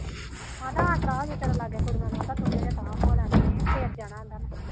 ਕਹਿੰਦਾ ਕੁੜੀਆਂ ਨੂੰ ਉਥਾ ਨੂੰ ਹੋ ਲੈਣਦੇ